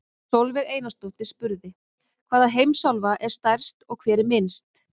Sólveig Einarsdóttir spurði: Hvaða heimsálfa er stærst og hver er minnst?